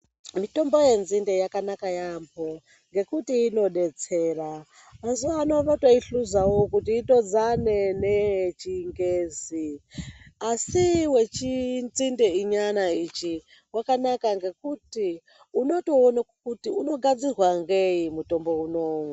Mitombo yenzinde yakanaka yambo ngekuti inodetsera, mazuwano votoihluzawo kuti itodzane neye chingezi asi wechinzinde nyana ichi wakanaka ngekuti unotoona kuti unogadzirwa ngei mutombo unou.